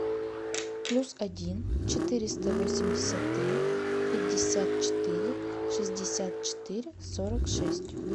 плюс один четыреста восемьдесят три пятьдесят четыре шестьдесят четыре сорок шесть